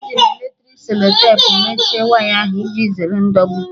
Eji m eletriki selotepụ mechie waya ahụ, iji zere ndọgbu